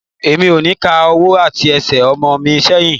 Mi ò ní ká ọwọ́ àti Ẹsẹ̀ ọmọ mi sẹ́yìn.